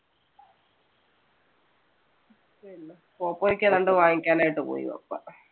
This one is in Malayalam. എന്തോ വാങ്ങിക്കാൻ ആയിട്ട് പോയി പപ്പാ.